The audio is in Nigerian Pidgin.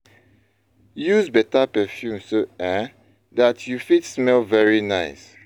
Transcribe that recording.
Use better perfume so um dat you fit smell very nice